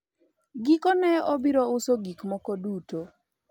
gikone obiro uso gik moko duto